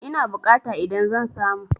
Ina bukata idan zan samu?